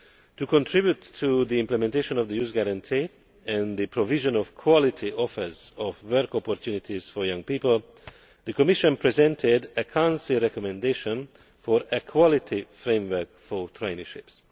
To contribute to the implementation of the Youth Guarantee and the provision of quality offers of work opportunities for young people the Commission presented a Council Recommendation on a Quality Framework for Traineeships.